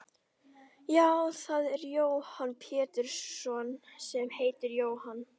Já það er ég Jóhann Pétursson sem heiti Jóhann.